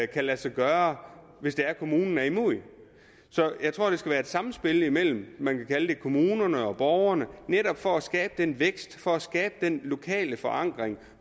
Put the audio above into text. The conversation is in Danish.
kan lade sig gøre hvis det er kommunen er imod det så jeg tror det skal være et samspil imellem kommunerne og borgerne netop for at skabe den vækst for at skabe den lokale forankring